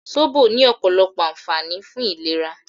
Sóbò ní ọ̀pọ̀lọpọ̀ ànfààní fún ìlera